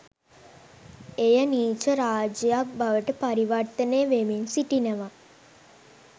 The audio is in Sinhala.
එය නීච රාජ්‍යයක් බවට පරිවර්තනය වෙමින් සිටිනවා